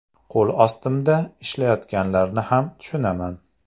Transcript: Qo‘l ostimda ishlayotganlarni ham tushunaman.